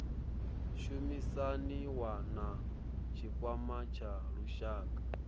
shumisaniwa na tshikwama tsha lushaka